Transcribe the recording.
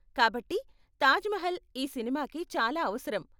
కాబట్టి, తాజ్ మహల్ ఈ సినిమాకి చాలా అవసరం.